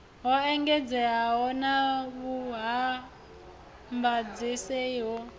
ho engedzeaho na vhuvhambadzaseli ho